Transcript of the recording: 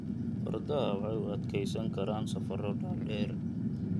Fardaha waxay u adkeysan karaan safarro dhaadheer.